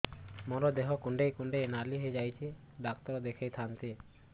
ମୋର ଦେହ କୁଣ୍ଡେଇ କୁଣ୍ଡେଇ ନାଲି ହୋଇଯାଉଛି ଡକ୍ଟର ଦେଖାଇ ଥାଆନ୍ତି